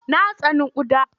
Na tsani ƙuda.